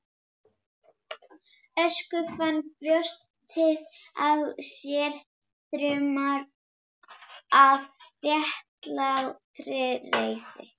Össur fann brjóstið á sér þruma af réttlátri reiði.